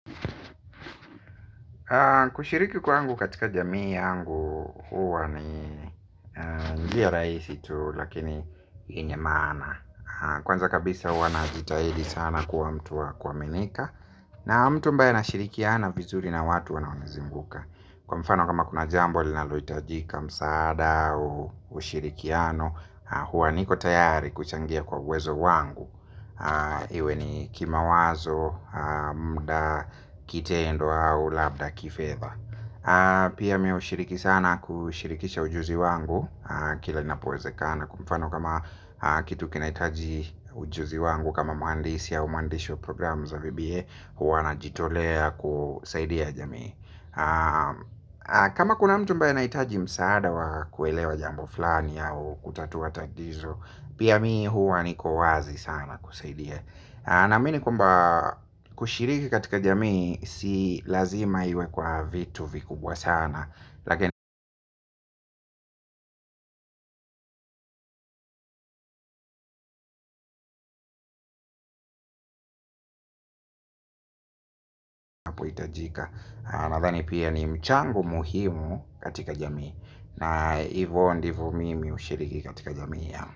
Kushiriki kwangu katika jamii yangu huwa ni njia rahisi tu lakini yenye maana. Kwanza kabisa huwa najitahidi sana kwa mtu wa kuaminika. Na mtu ambaye na shirikiana vizuri na watu wanaonizinguka. Kwa mfano kama kuna jambo linaloitajika msaada ushirikiano huwa niko tayari kuchangia kwa uwezo wangu. Iwe ni kimawazo, muda, kitendo au labda kifedha. Pia mi ushiriki sana kushirikisha ujuzi wangu. Kila napowezekana kwa mfano kama kitu kinaitaji ujuzi wangu. Kama muhandisi au mwandishi wa programu za VBA. Huwa najitolea kusaidia jamii. Kama kuna mtu ambaye anaitaji msaada wa kuelewa jambo fulani au kutatua tatizo pia mimi huwa niko wazi sana kusaidia naamini kwamba kushiriki katika jamii si lazima iwe kwa vitu vikubwa sana lakini inapoitajika nadhani pia ni mchango muhimu katika jamii na hivo ndivo mimi ushiriki katika jamii.